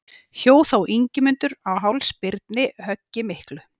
Hjó þá Ingimundur á háls Birni höggi miklu.